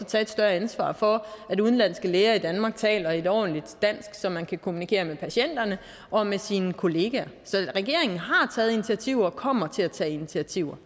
tage et større ansvar for at udenlandske læger i danmark taler et ordentligt dansk så man kan kommunikere med patienterne og med sine kollegaer så regeringen har taget initiativer og kommer til at tage initiativer